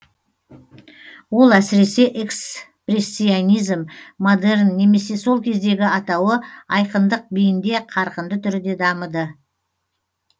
ол әсіресе экспрессионизм модерн немесе сол кездегі атауы айқындық биінде қарқынды түрде дамыды